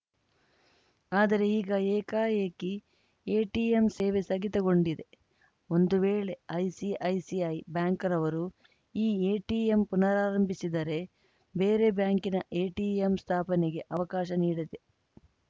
ಆದರೆ ಈಗ ಏಕಾಏಕಿ ಎಟಿಎಂ ಸೇವೆ ಸ್ಥಗಿತಗೊಂಡಿದೆ ಒಂದು ವೇಳೆ ಐಸಿಐಸಿಐ ಬ್ಯಾಂಕ್‌ನವರು ಈ ಎಟಿಎಂ ಪುನಾರಂಭಿಸಿದರೆ ಬೇರೆ ಬ್ಯಾಂಕಿನ ಎಟಿಎಂ ಸ್ಥಾಪನೆಗೆ ಅವಕಾಶ ನೀಡಲಿ